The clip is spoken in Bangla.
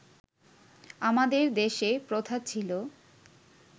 আমাদের দেশে প্রথা ছিল